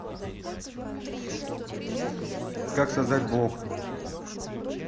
как создать блог